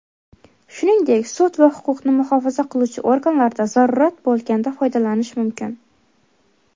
shuningdek sud va huquqni muhofaza qiluvchi organlarda zarurat bo‘lganda foydalanish mumkin.